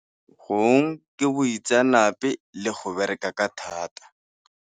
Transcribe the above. Gong ke boitseanape le go bereka ka thata.